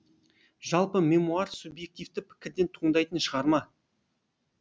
жалпы мемуар субъективті пікірден туындайтын шығарма